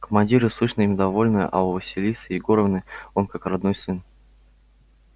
командиры слышно им довольны а у василисы егоровны он как родной сын